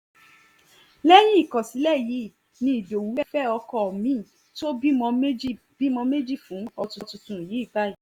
lẹ́yìn ìkọ̀sílẹ̀ yìí ni ìdowu fẹ́ ọkọ mi-in ó ti bímọ méjì bímọ méjì fún ọkọ̀ tuntun yìí báyìí